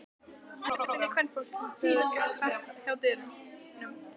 Þysinn í kvenfólkinu þegar það gekk hratt hjá dyrunum?